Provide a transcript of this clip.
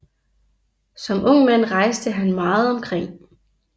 Som ung mand rejste han meget omkring